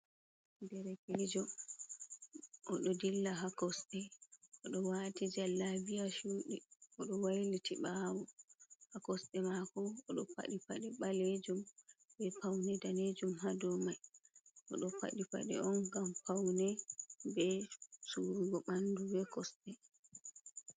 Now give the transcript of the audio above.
Derekeejo, oɗo dilla ha kosɗee oɗo wati jallabiya chuuɗi, oɗo wailiti ɓaawo. Ha kosɗee mako, oɗo paɗi paaɗe ɓaleejuum be paune daneejuum, hadou mai, oɗo paɗi Paɗe on gam paune be suirugo ɓandu be kosɗe.